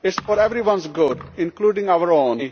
It is for everyone's good, including our own.